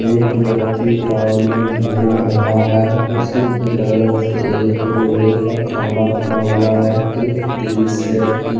एक व्यक्ति ग्राउंड में घूम रहा है उसी के बगल से एक लोहे का खम्भा खड़ा हुआ है एक टिन शेड की--